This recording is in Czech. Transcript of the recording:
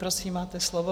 Prosím, máte slovo.